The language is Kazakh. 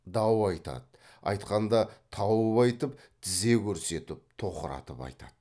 дау айтады айтқанда тауып айтып тізе көрсетіп тоқыратып айтады